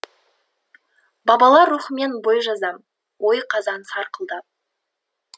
бабалар рухымен бой жазам ой қазан сарқылдап